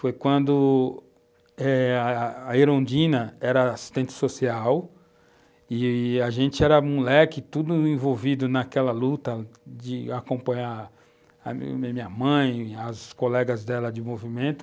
Foi quando a a Erundina era assistente social e a gente era moleque, tudo envolvido naquela luta de acompanhar a minha minha mãe e as colegas dela de movimento.